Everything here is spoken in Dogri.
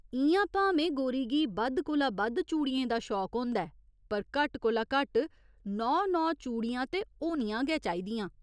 इ'यां भामें गोरी गी बद्ध कोला बद्ध चूड़ियें दा शौक होंदा ऐ पर घट्ट कोला घट्ट नौ नौ चूड़ियां ते होनियां गै चाहिदियां।